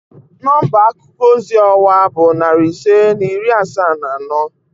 Nọmba akuko ozi ọwa bụ narị ise na iri asaa na anọ